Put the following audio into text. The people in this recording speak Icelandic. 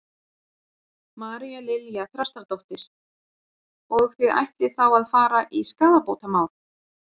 María Lilja Þrastardóttir: Og þið ætlið þá að fara í skaðabótamál?